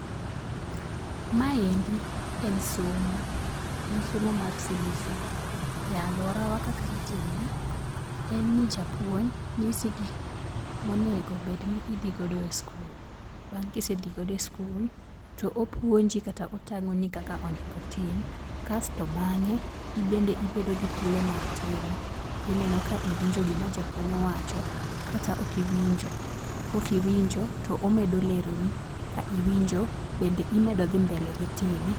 Maendi en somo. En somo mar CBC. E aluorawa kaka itime, en ni japuonj nyisi gik monego bedni idhi godo e skul. Bang' kisedhi godo e skul to opuonji kata otang'oni kaka onego otim. Kasto bang'e in bende ibedo gi thuolo mar timo. Ineno ka iwinjo gima japuonj owacho kata ok iwinjo, kok iwinjo to omedo leroni, kiwinjo to imedo dhi mbele gi time.